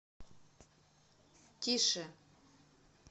тише